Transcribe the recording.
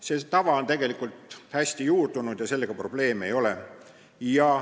See tava on tegelikult hästi juurdunud ja sellega probleeme ei ole.